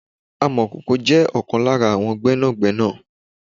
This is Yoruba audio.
Amọ̀ mímọ jẹ́ ọ̀kan lára àwọn gbẹ́nàgbẹ́nà.